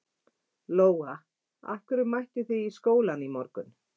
Lóa: Af hverju mættu þið í skólann í morgun?